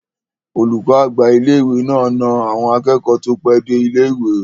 Olùkọ́ àgbà ilé-ìwé náà na àwọn akẹ́kọ̀ọ́ tó pẹ́ dé ilé-ìwé